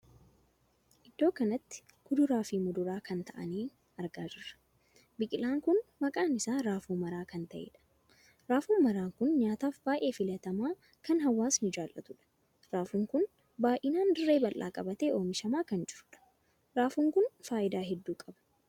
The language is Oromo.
Iddoo kanatti kuduraa fi muduraa kan taa'anii argaa jirra. biqilaan kun maqaan isaa raafuu maraa kan taheedha. raafuu maraan kun nyaataaf baay'ee filatamaa kan hawaasni jaallatudha. raafuun kun baay'inaan dirree bal'aa qabatee oomishamaa kan jirudha. raafuun kun faayidaa hedduu qaba.